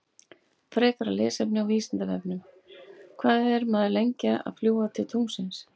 Frekara lesefni á Vísindavefnum: Hvað er maður lengi að fljúga til tunglsins?